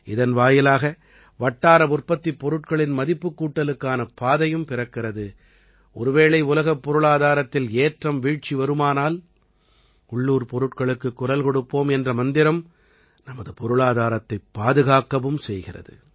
இதன் வாயிலாக வட்டார உற்பத்திப் பொருட்களின் மதிப்புக்கூட்டலுக்கான பாதையும் பிறக்கிறது ஒருவேளை உலகப் பொருளாதாரத்தில் ஏற்றம்வீழ்ச்சி வருமானால் உள்ளூர்ப் பொருட்களுக்குக் குரல் கொடுப்போம் என்ற மந்திரம் நமது பொருளாதாரத்தைப் பாதுகாக்கவும் செய்கிறது